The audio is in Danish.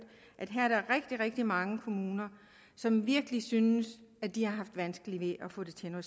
at der her er rigtig rigtig mange kommuner som virkelig synes de har haft vanskeligt ved at få det til at